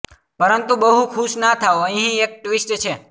પરંતુ બહુ ખુશ ના થાવ અહીં એક ટ્વિસ્ટ છે